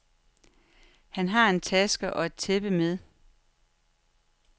Han har en taske og et tæppe med.